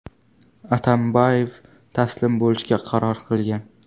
Atambayev taslim bo‘lishga qaror qilgan.